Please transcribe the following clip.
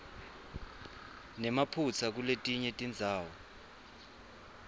nemaphutsa kuletinye tindzawo